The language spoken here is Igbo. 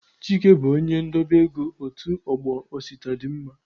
Chike bụ onye ndobe ego otu ọgbọ Osita dị mma.